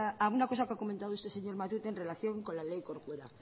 a una cosa que ha comentado este señor matute en relación con la ley corcuera